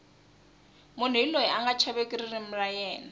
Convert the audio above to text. munhu hi loyi anga chaveki ririmi ra yena